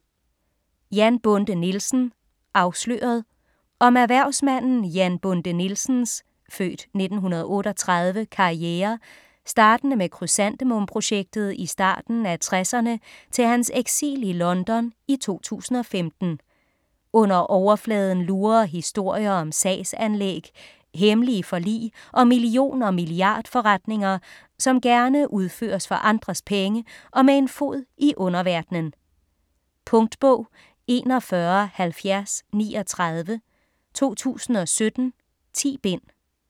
Jan Bonde Nielsen - afsløret Om erhvervsmanden Jan Bonde Nielsens (f. 1938) karriere startende med krysantemum-projektet i starten af 60'erne til hans eksil i London i 2015. Under overfladen lurer historier om sagsanlæg, hemmelige forlig og million- og milliardforretninger, som gerne udføres for andres penge og med en fod i en underverden. Punktbog 417039 2017. 10 bind.